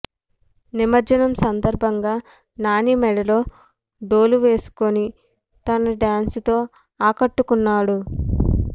నిమర్జనం సంధర్భంగా నాని మెడలో డోలు వేసుకొని తన డాన్స్ తో ఆకట్టుకున్నాడు